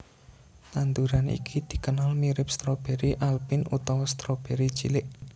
Tanduran iki dikenal mirip stroberi alpin utawa stroberi cilik